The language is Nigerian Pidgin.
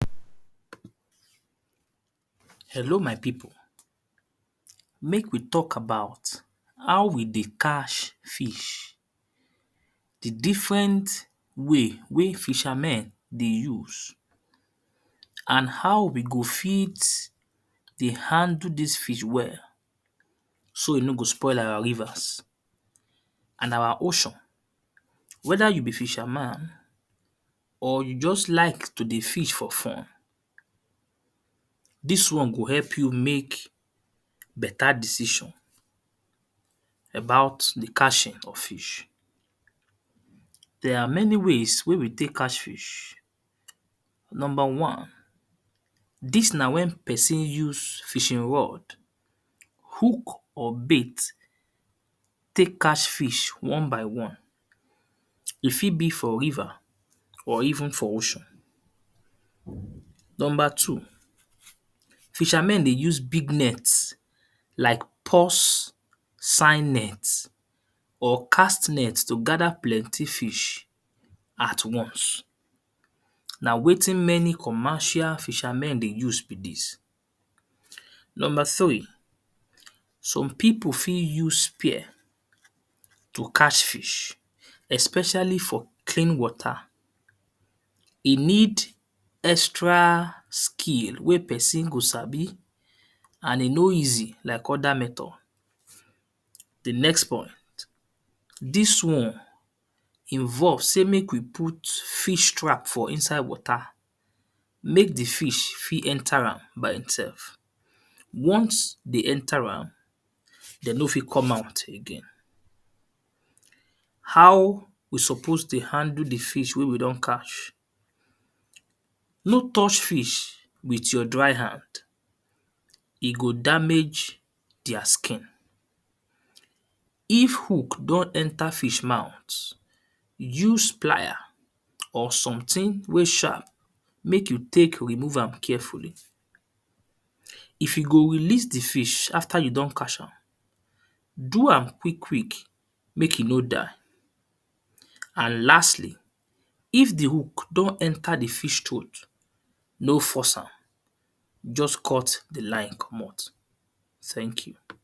Hello my pipu mek we talk about how we dey catch fish, di different way wey fishr men dey use and how we go fit dey handlke dis fish well so e no go spoil our rivers and our ocean weda you be fisher man or you just like to dey fish for fun, dis won go help you mek beta decision about di cathing of fish,. There are many ways wey we tek catch fish, number wan dis na wen pesin use fishing rode hook or bait tek catchfish wan by wan, e fit bi for river or even for ocean. Numb er two fisher men dey use big net like pulse sign net or cast net to gether plenty fish na wetin many commercial fisher men dey use be dis. Number three some pipu fit use spear to catch fish especially for clean water, e need extral skill wey pesn go sabi and e no easy like other method. Dis won involve sey mek we put fish fish trap for inside wate mek di fish fit enter am by sef ones de enter am, de no fit come out again. How we suppose dey handle di fish wey we don catch, no touch fish with you dry hand e go damage their skin. If hook don nter fish mouth, use plier or something wey sharp mek you tek remove am carefully, if you go releas di fish after you don catch am, do am quick quick mek e no die and lastly if di hook don enter di fish troath, no force am just cut di line commot thank you.